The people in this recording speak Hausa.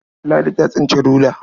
Ladi ta tsinci rula.